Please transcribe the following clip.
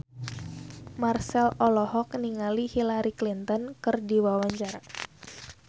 Marchell olohok ningali Hillary Clinton keur diwawancara